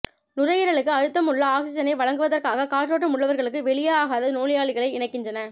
நுரையீரலுக்கு அழுத்தம் உள்ள ஆக்ஸிஜனை வழங்குவதற்காக காற்றோட்டம் உள்ளவர்களுக்கு வெளியாகாத நோயாளிகளை இணைக்கின்றன